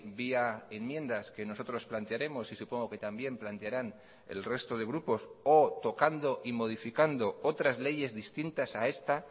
vía enmiendas que nosotros plantearemos y supongo que también plantearan el resto de grupos o tocando y modificando otras leyes distintas a esta